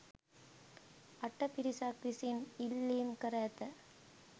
අට පිරිසක් විසින් ඉල්ලීම් කර ඇත.